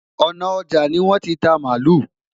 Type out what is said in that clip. òná ọja ni won tí ta malu